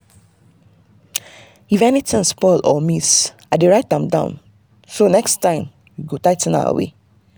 if anything spoil or miss i dey write am down so next time we go tigh ten our way.